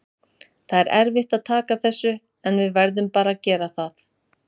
Það er erfitt að taka þessu, en við verðum bara að gera það.